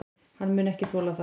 Hann mun ekki þola það.